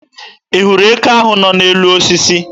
Ị hụrụ eke ahụ nọ n'elu osisi?